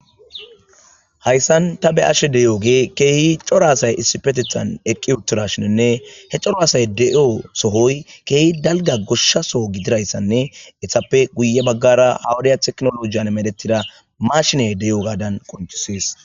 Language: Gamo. Hayssan ta be ashe deyo ge keehi coro asay issipetethan eqqi uttura shienne he coro asay de'o sohoy keehi dalga goshsha soo gidirayssanne ethsappe guye baggara hawudaya teknolojiyan medettida mashiney de'o gaadan qoncusees.